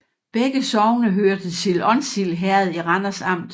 Begge sogne hørte til Onsild Herred i Randers Amt